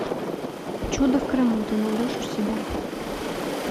чудо в крыму ты найдешь у себя